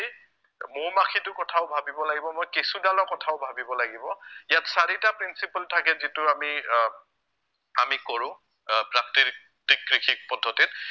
মৌ-মাখিটোৰ কথাও ভাৱিব লাগিব মই, কেঁচুদালৰ কথাও ভাৱিব লাগিব, ইয়াত চাৰিটা principle থাকে যিটো আমি আহ আমি কৰো আহ প্ৰাকৃতিক কৃষি পদ্ধতিত